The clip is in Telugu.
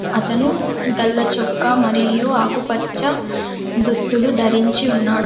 అతను గళ్ళ చొక్కా మరియు ఆకుపచ్చ దుస్తులు ధరించి ఉన్నాడు.